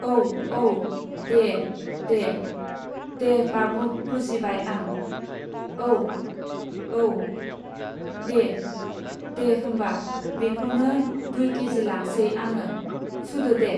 औ, औ, दे, दे, दे, बाबु बुजिबाय आं। औ, औ, दे, दे, होमबा बेखौनो दुइ केजि लांसै आङो, सुदो दे।